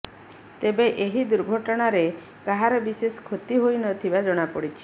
ତେବେ ଏହି ଦୁର୍ଘଟଣାରେ କାହାର ବିଶେଷ କ୍ଷତି ହୋଇନଥିବା ଜଣାପଡିଛି